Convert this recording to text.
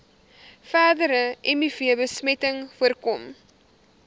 verdere mivbesmetting voorkom